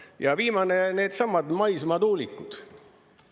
Ja viimane, needsamad maismaa tuulikud.